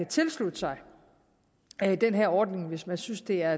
tilslutte sig den her ordning hvis man synes det er